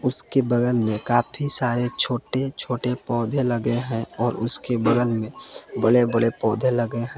उसके बगल में काफी सारे छोटे छोटे पौधे लगे हैं और उसके बगल में बड़े बड़े पौधे लगे हैं।